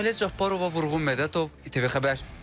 Sahilə Cabbarova, Vurğun Mədətov, ATV Xəbər.